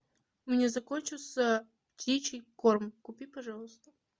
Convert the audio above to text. у меня закончился птичий корм купи пожалуйста